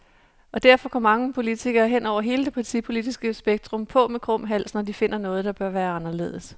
Og derfor går mange politikere, hen over hele det partipolitiske spektrum, på med krum hals, når de finder noget, der bør være anderledes.